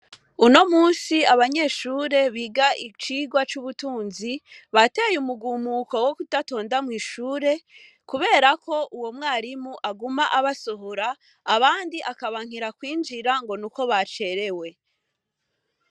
Uno munsi abanyeshure biga icirwa c'ubutunzi, bateye umugumuko wo gudatonda mw'sihure kubera ko uwo mw'arimu aguma abasohora, abandi aka bankira kw'injira ngo nuko bacerewe.